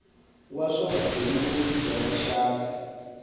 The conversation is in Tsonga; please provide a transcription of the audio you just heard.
wa swa vugembuli bya rixaka